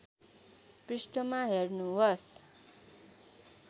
पृष्ठमा हेर्नुहोस्